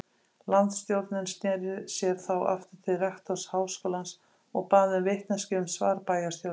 Landsstjórnin sneri sér þá aftur til rektors háskólans og bað um vitneskju um svar bæjarstjórnar.